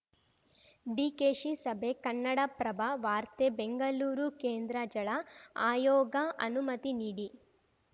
ಡಿಕೆಶಿ ಸಭೆ ಕನ್ನಡಪ್ರಭ ವಾರ್ತೆ ಬೆಂಗಳೂರು ಕೇಂದ್ರ ಜಳ ಆಯೋಗ ಅನುಮತಿ ನೀಡಿ